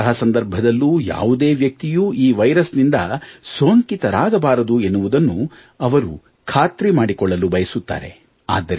ಎಂತಹ ಸಂದರ್ಭದಲ್ಲೂ ಯಾವುದೇ ವ್ಯಕ್ತಿಯೂ ಈ ವೈರಸ್ನಿಂದ ಸೋಂಕಿತರಾಗಬಾರದು ಎನ್ನುವುದನ್ನು ಅವರು ಖಾತ್ರಿ ಮಾಡಿಕೊಳ್ಳಲು ಬಯಸುತ್ತಾರೆ